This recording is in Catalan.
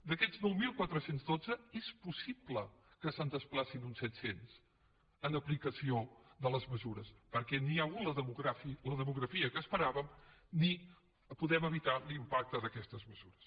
d’aquests nou mil quatre cents i dotze és possible que se’n desplacin uns set cents en aplicació de les mesures perquè ni hi ha hagut la demografia que esperàvem ni podem evitar l’impacte d’aquestes mesures